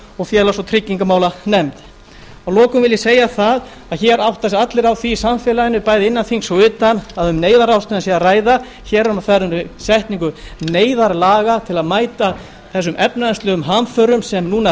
og félags og tryggingamálanefnd að lokum vil ég segja það að hér átta sig allir á því í samfélaginu bæði innan þings og utan að um neyðarráðstöfun er að ræða hér er á ferðinni setning neyðarlaga til að mæta þessum efnahagslegu hamförum sem núna